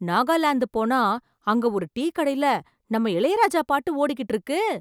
நாகாலாந்து போனா அங்க ஒரு டீ கடையில நம்ம இளையராஜா பாட்டு ஓடிட்டிருக்கு!